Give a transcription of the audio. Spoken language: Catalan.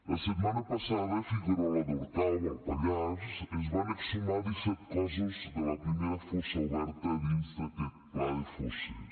la setmana passada a figuerola d’orcau al pallars es van exhumar disset cossos de la primera fossa oberta dins d’aquest pla de fosses